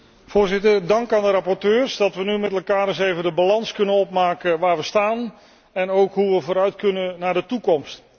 Voorzitter, dank aan de rapporteurs dat we nu met elkaar eens even de balans kunnen opmaken van waar we staan en hoe we vooruit kunnen in de toekomst.